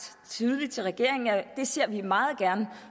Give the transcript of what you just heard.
tydeligt til regeringen at det ser vi meget gerne